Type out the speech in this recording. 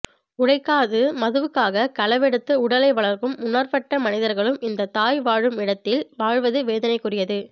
உழைக்காது மதுவுக்காக களவெடுத்து உடலை வளர்க்கும் உணர்வட்ட மனிதர்களும் இந்த தாய் வாழும் இடத்தில வாழ்வது வேதனைக்குரியது